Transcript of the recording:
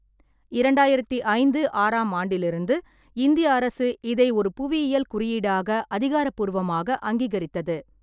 இரண்டாயிரத்தி ஐந்து ஆறாம் ஆண்டிலிருந்து இந்திய அரசு இதை ஒரு புவியியல் குறியீடாக அதிகாரப்பூர்வமாக அங்கீகரித்தது.